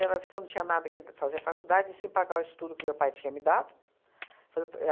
Ela disse que eu não tinha nada que fazer faculdade e sim pagar o estudo que meu pai tinha me dado. Fazer